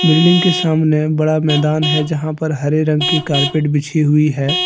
Building के सामने बड़ा मैदान है जहां पर हरे रंग की कारपेट बिछी हुई है।